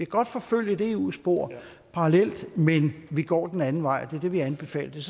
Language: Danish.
godt forfølge et eu spor parallelt men vi går den anden vej det er det vi anbefaler og det